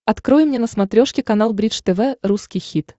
открой мне на смотрешке канал бридж тв русский хит